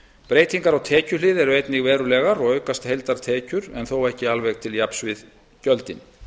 breytingar á tekjuhlið eru einnig verulegar og aukast heildartekjur en þó ekki til jafns við gjöldin